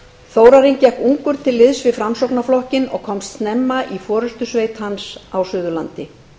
þórarinn gekk ungur til liðs við framsóknarflokkinn og komst snemma í forustusveit hans á suðurlandi